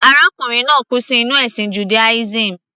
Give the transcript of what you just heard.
Arákùnrin náà kú sínú ẹ̀sìn Judaism.